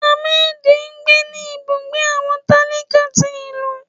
Hamedí ńgbé ní ibùgbé awọn talíká tí ilú.